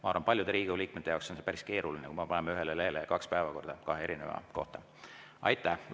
Ma arvan, et paljude Riigikogu liikmete jaoks oleks see päris keeruline, kui me paneksime ühele lehele kaks päevakorda, kahe erineva kohta.